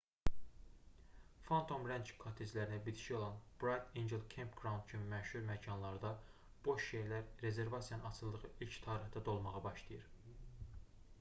phantom ranch kotteclərinə bitişik olan bright angel campground kimi ən məşhur məkanlarda boş yerlər rezervasiyanın açıldığı ilk tarixdə dolmağa başlayır